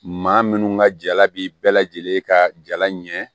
Maa minnu ka jala b'i bɛɛ lajɛlen ka jala ɲɛ